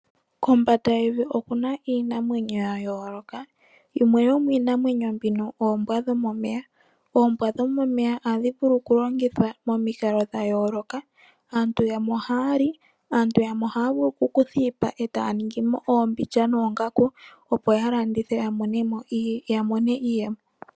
Kombanda yevi oku na iinamwenyo ya yooloka, yimwe yomiinamwenyo mbino oombwa dhomomeya. Oombwa dhomomeya ohadhi vulu okulongithwa momikalo dhayooloka, aantu yamwe ohaya li naantu yamwe ohaya vulu okukutha iipa etaaningimo oombilya noongaku, opo ya landithe ya monemo iiyemo.